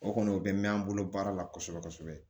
O kɔni o bɛ mɛn an bolo baara la kosɛbɛ kosɛbɛ